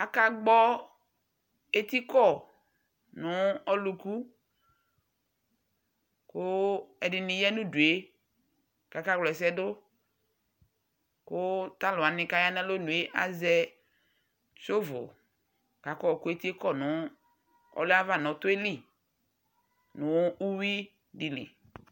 aka gbɔ eti kɔ no ɔluku kò ɛdini ya no udu yɛ k'aka wla ɛsɛ do kò to alowani k'aya n'alɔnu yɛ azɛ shɔvul k'aka yɔ kò eti yɛ kɔ nò ɔlò yɛ ava n'ɔtɔ yɛ li no uwi di li